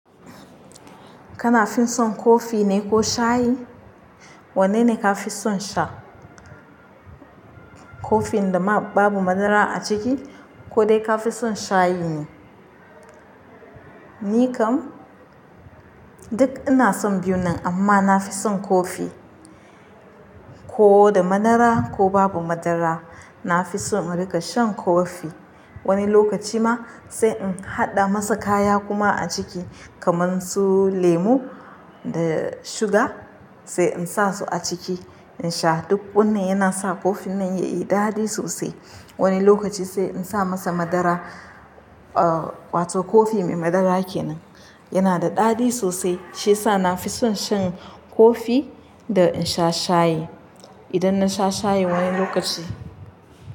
Kana fin son kofi ne ko shayi? Wanne ne kafi son sha? Kofin da ma babu madara a ciki, ko dai kafi son shayi ne? Ni kam duk ina son biyu nan amma na fi son kofi. Ko da madara ko babu madara. Na fi son rika shan kofi. Wani lokaci ma sai in haɗa masa kaya kuma a ciki kamar su lemu da suga sai in sa su a ciki in sha. Duk wannan yana sa kofin nan ya yi daɗi sosai. Wani lokaci sai in sa masa madara, ah wato kofi mai madara kenan. Yana da daɗi sosai shiyasa na fi son shan kofi da in sha shayi. Idan na sha shayi wani lokaci.